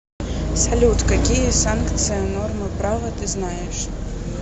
салют какие санкция нормы права ты знаешь